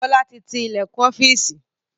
Bọlá tí tí ilẹkun ọ́fíìsì